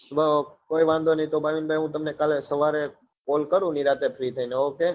અને કોઈ વાંધો નઈ તો ભાવિનભાઈ હું તમને કાલે સવારે call કરું નિરાંતે free થઇ ને ok